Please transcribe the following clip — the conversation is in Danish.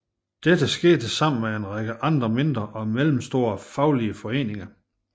Dette skete sammen med en række andre mindre og mellemstore faglige foreninger